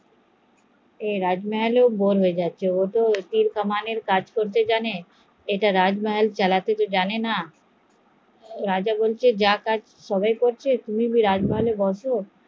ও রাজমহলে bore হয়ে যাচ্ছে, ও তো তীর কামান এর কাজ জানে তাই মহল চালাতে জানেনা, রাজা বলছে সবাই যা করছে তুমিও তাই করো